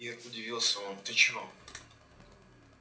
ир удивился он ты чего